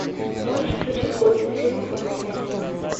можешь включить годный фильм в духе аниме